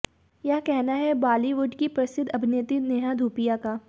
यह कहना है बॉलीवुड की प्रसिद्ध अभिनेत्री नेहा धूपिया का